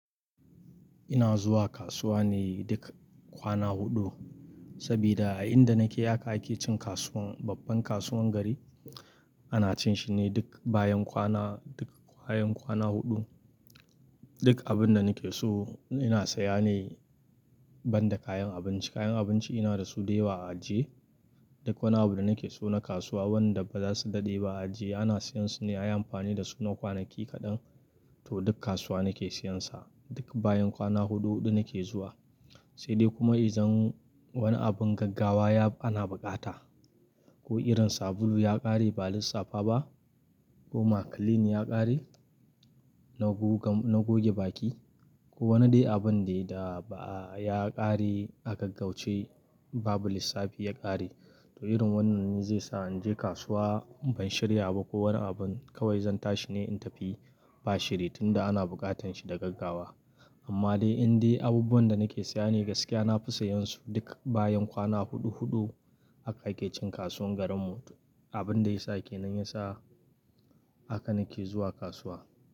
Ina zuwa kasuwa ne duk kwana huɗu, sabida a inda nake haka ake cin kasuwan babban kasuwan gari, Ana cin shi ne duk bayan kwana, duk bayan kwana huɗu. Duk abin da nake so, ina saya ne, banda kayan abinci. Kayan abinci ina da su da yawa a ajiye. Duk wani abu da nake so na kasuwa wanda ba za su daɗe ba a ajiye ana siyan su ne ayi amfani da su na kwanaki kaɗan, to duk kasuwa nake siyansa. Duk bayan kwana huɗu-huɗu nake zuwa, sai dai kuma idan, wani abun gaggawa, ana buƙata, ko irin sabulu ya ƙare ba lissafa ba ko ma clean ya ƙare, na goge baki ko wani dai abun dai da ba'a, ya ƙare a gaggauce, babu lissafi ya ƙare. To irin wannan zai sa in je kasuwa ban shirya ba, ko wani abun kawai zan tashi ne in tafi, ba shiri tunda ana buƙatan shi da gaggawa. Amma dai indai abubuwan da nake saya ne gaskiya na fi sayan su duk bayan kwana huɗu-huɗu, haka ake cin kasuwan garinmu. Abin da ya sa ke nan ya sa, haka nake zuwa kasuwa.